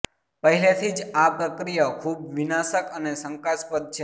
પહેલેથી જ આ પ્રક્રિયાઓ ખૂબ વિનાશક અને શંકાસ્પદ છે